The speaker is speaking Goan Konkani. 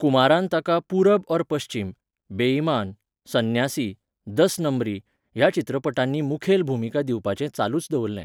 कुमारान ताका पुरब और पश्चीम, बे इमान, संन्यासी, दस नंबरी ह्या चित्रपटांनी मुखेल भुमिका दिवपाचें चालूच दवरलें.